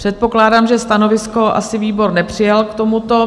Předpokládám, že stanovisko asi výbor nepřijal k tomuto.